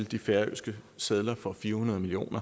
de færøske sedler for fire hundrede million